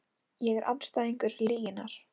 Ég er andstæðingur lyginnar.